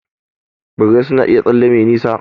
Birrai suna iya tsalle me nisa.